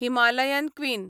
Himalayan queen